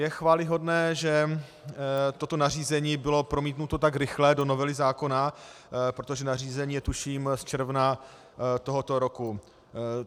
Je chvályhodné, že toto nařízení bylo promítnuto tak rychle do novely zákona, protože nařízení je tuším z června tohoto roku.